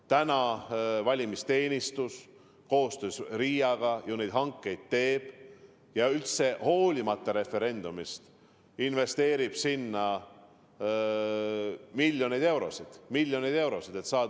Täna valimisteenistus koostöös RIA-ga neid hankeid teeb ja olenemata referendumi toimumisest investeerib sinna miljoneid eurosid – miljoneid eurosid!